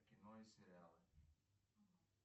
кино и сериалы